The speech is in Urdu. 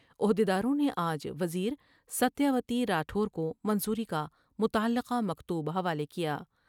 عہد یداروں نے آج وزیرستیہ وتی راٹھور کومنظوری کا متعلقہ مکتوب حوالے کیا ۔